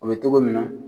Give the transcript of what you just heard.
O bɛ togo min na